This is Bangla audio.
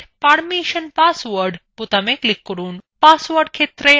set permission পাসওয়ার্ডস বোতামে click করুন